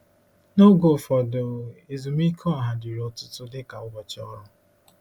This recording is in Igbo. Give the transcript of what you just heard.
N’oge ụfọdụ, ezumike ọha dịrị ọtụtụ dịka ụbọchị ọrụ.